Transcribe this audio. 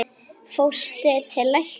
Fórstu til læknis?